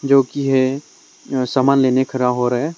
जो कि है अह सामान लेने खड़ा हो रहा है।